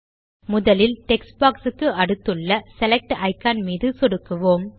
முதல் text box க்கு அடுத்துள்ள செலக்ட் இக்கான் மீது சொடுக்குவோம்